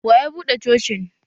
Wa ya buɗe Cocin?